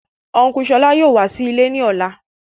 Ọn̄ku Ṣọlá yóò wá sí ilè ní ọlá.